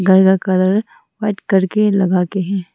काला colour white करके लगा के है।